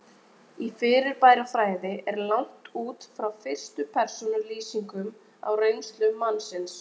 Í fyrirbærafræði er lagt út frá fyrstu persónu lýsingum á reynslu mannsins.